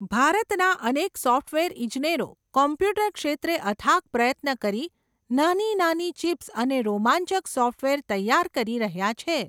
ભારતના અનેક સોફટવેર ઈજનેરો, કોમ્પ્યુટર ક્ષેત્રે અથાગ પ્રયત્ન કરી, નાની નાની ચિપ્સ અને રોમાંચક સોફટવેર તૈયાર કરી રહ્યા છે.